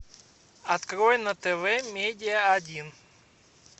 открой на тв медиа один